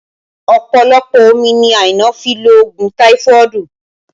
Ọpọlọpọ omi ni Aina fi lo òògùn táífọ̀dù